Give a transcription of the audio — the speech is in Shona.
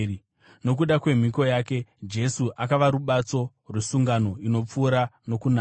Nokuda kwemhiko yake, Jesu akava rubatso rwesungano inopfuura nokunaka.